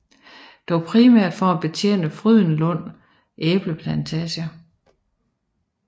Dog primært for at betjene Frydenlund æbleplantage